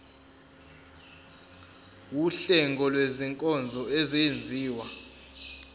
wuhlengo lwezinkonzo ezenziwa